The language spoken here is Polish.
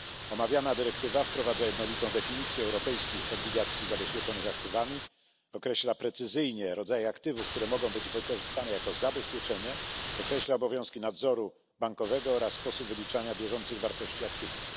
Omawiana dyrektywa wprowadza jednolitą definicję europejskich obligacji zabezpieczonych aktywami, precyzyjnie określa rodzaje aktywów, które mogą być wykorzystane jako zabezpieczenie, określa obowiązki nadzoru bankowego oraz sposób wyliczania bieżących wartości aktywów.